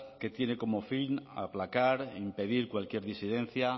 que tiene como fin aplacar e impedir cualquier disidencia